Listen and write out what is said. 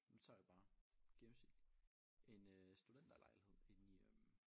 Nu tager jeg bare gennemsnit en øh studenterlejlighed inde i øh